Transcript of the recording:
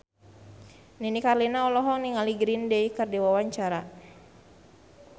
Nini Carlina olohok ningali Green Day keur diwawancara